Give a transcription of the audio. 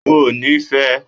O ò ni fẹ!